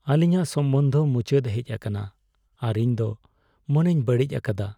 ᱟᱞᱤᱧᱟᱜ ᱥᱚᱢᱵᱚᱸᱫ ᱢᱩᱪᱟᱹᱫ ᱦᱮᱡ ᱟᱠᱟᱱᱟ ᱟᱨ ᱤᱧ ᱫᱚ ᱢᱚᱱᱮᱧ ᱵᱟᱹᱲᱤᱡ ᱟᱠᱟᱫᱟ ᱾